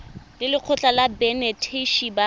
le lekgotlha la banetetshi ba